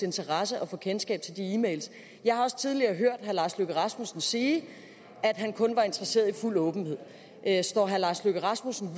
interesse at få kendskab til de e mails jeg har også tidligere hørt herre lars løkke rasmussen sige at han kun var interesseret i fuld åbenhed står herre lars løkke rasmussen